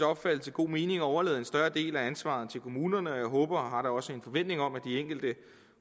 opfattelse god mening at overlade en større del af ansvaret til kommunerne og jeg håber og har da også en forventning om at de enkelte